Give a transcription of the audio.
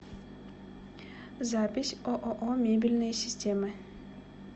запись ооо мебельные системы